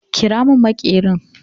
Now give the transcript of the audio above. Ƙira mun maƙerin!